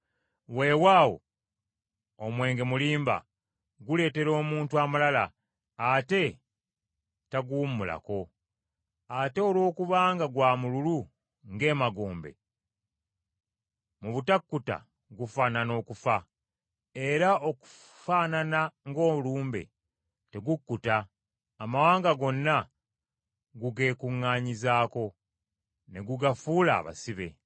Weewaawo, omwenge mulimba guleetera omuntu amalala, ate taguwummulako. Ate olwokubanga gwa mululu ng’emagombe, mu butakkuta gufaanana okufa. Era okufaanana ng’olumbe, tegukkuta, amawanga gonna gugeekuŋŋanyizaako ne gugafuula abasibe.